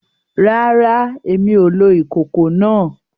Rárá, Èmí o lò ìkòkò náà